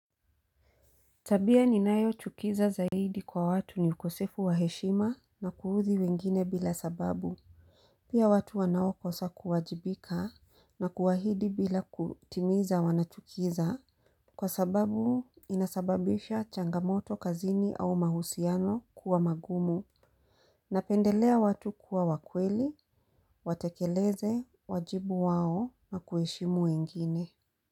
Tabia ninayochukiza zaidi kwa watu ni ukosefu wa heshima na kuudhi wengine bila sababu Pia watu wanao kosa kuwajibika na kuahidi bila kutimiza wanachukiza Kwa sababu inasababisha changamoto kazini au mahusiano kuwa magumu Napendelea watu kuwa wa kweli, watekeleze, wajibu wao na kuheshimu wengine.